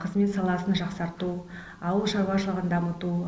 қызмет саласын жақсарту ауыл шаруашылығын дамыту